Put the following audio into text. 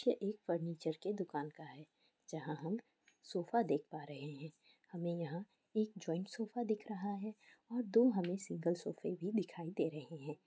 Picture एक furniture के दुकान का है जहाँ हम सोफा देख पा रहे हैं। हमे यहाँ एक जॉइंट सोफा दिख रहा है और दो हमे सिंगल सोफे भी दिखाई दे रहे हैं।